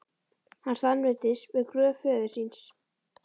Hann staðnæmist við gröf föður síns.